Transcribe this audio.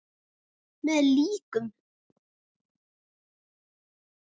Með líkum!